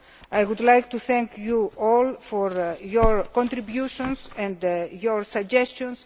I would like to thank you all for your contributions and your suggestions.